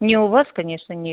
не у вас конечно не